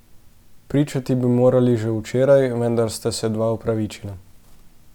Pričati bi morali že včeraj, vendar sta se dva opravičila.